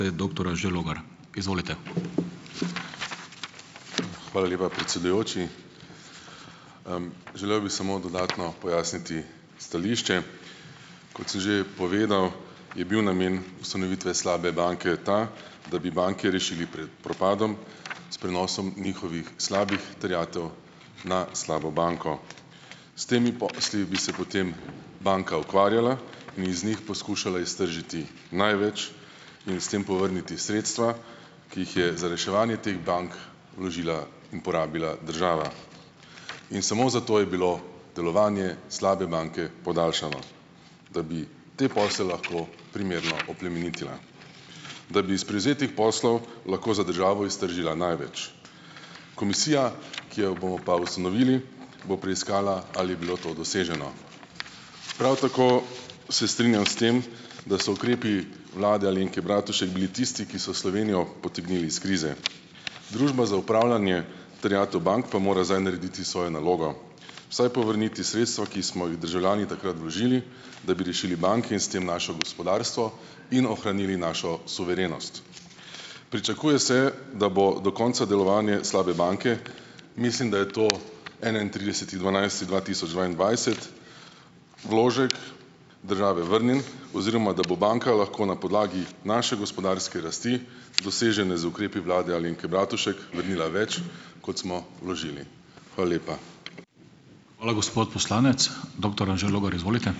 Doktor Anže Logar, izvolite. Hvala lepa, predsedujoči . želel bi samo dodatno pojasniti stališče. Kot že povedal, je bil namen ustanovitve slabe banke ta, da bi banke rešili pred propadom s prenosom njihovih slabih terjatev na slabo banko. S temi posli bi se potem banka ukvarjala in bi iz njih poskušala iztržiti največ in s tem povrniti sredstva, ki jih je za reševanje teh bank položila in porabila država. In samo zato je bilo delovanje slabe banke podaljšano, da bi te posle lahko primerno oplemenitila. Da bi iz prevzetih poslov lahko za državo iztržila največ. Komisija, ki jo bo pa ustanovili, bo preiskala, ali je bilo to doseženo. Prav tako se strinjam s tem, da so ukrepi vlade Alenke Bratušek bili tisti, ki so Slovenijo potegnili iz krize. Družba za upravljanje terjatev bank pa mora zdaj narediti narediti svojo nalogo, vsaj povrniti sredstva, ki smo jih državljani takrat vložili, da bi rešili banke in s tem naše gospodarstvo in ohranili našo suverenost. Pričakuje se, da bo do konca delovanja slabe banke, mislim, da je to enaintrideseti dvanajsti dva tisoč dvaindvajset, vložek države vrnjen oziroma, da bo banka lahko na podlagi naše gospodarske rasti, dosežene z ukrepi vlade Alenke Bratušek, vrnila več, kot smo vložili. Hvala lepa. Hvala, gospod poslanec. Doktor Anže Logar, izvolite.